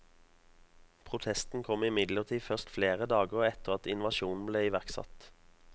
Protesten kom imidlertid først flere dager etter at invasjonen ble iverksatt.